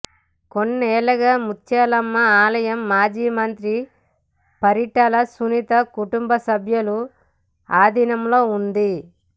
కొన్నేళ్లుగా ముత్యాలమ్మ ఆలయం మాజీ మంత్రి పరిటాల సునీత కుటుంబ సభ్యుల ఆధీనంలో ఉంది